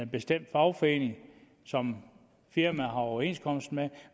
bestemt fagforening som firmaet har overenskomst med